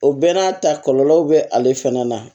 O bɛɛ n'a ta kɔlɔlɔw bɛ ale fana na